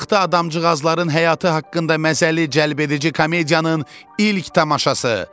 Taxta adamcıqazların həyatı haqqında məzəli, cəlbedici komediyanın ilk tamaşası.